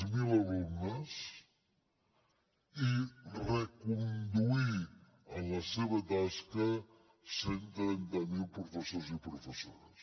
zero alumnes i reconduir en la seva tasca cent i trenta miler professors i professores